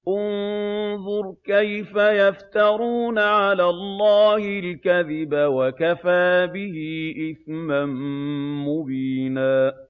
انظُرْ كَيْفَ يَفْتَرُونَ عَلَى اللَّهِ الْكَذِبَ ۖ وَكَفَىٰ بِهِ إِثْمًا مُّبِينًا